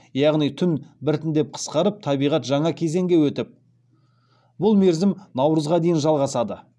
яғни түн біртіндеп қысқарып табиғат жаңа кезеңге өтіп бұл мерзім наурызға дейін жалғасады